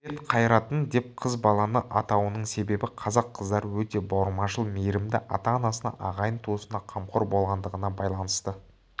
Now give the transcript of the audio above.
бет қарайтын деп қыз баланы атауының себебі қазақ қыздары өте бауырмашыл мейірімді ата-анасына ағайын туысына қамқор болатындығына байланысты